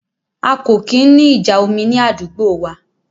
A kò kí ń ní ìjà omi ní àdúgbò wa